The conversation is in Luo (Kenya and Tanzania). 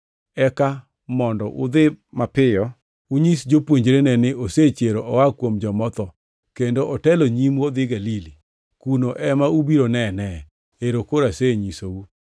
Eka mondo udhi mapiyo unyis jopuonjrene ni, ‘Osechier oa kuom joma otho kendo otelo e nyimu odhi Galili. Kuno ema ubiro nenee.’ Ero koro asenyisou.”